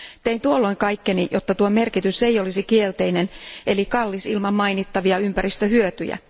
Tein tuolloin kaikkeni, jotta tuo merkitys ei olisi kielteinen eli kallis ilman mainittavia ympäristöhyötyjä.